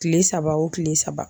Kile saba o kile saba.